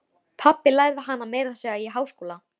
Pabbi lærði hana meira að segja í háskóla.